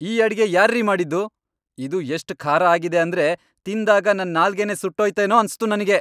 ಈ ಅಡ್ಗೆ ಯಾರ್ರೀ ಮಾಡಿದ್ದು? ಇದು ಎಷ್ಟ್ ಖಾರ ಆಗಿದೆ ಅಂದ್ರೆ ತಿಂದಾಗ ನನ್ ನಾಲ್ಗೆನೇ ಸುಟ್ಟೋಯ್ತೇನೋ ಅನ್ಸ್ತು ನಂಗೆ.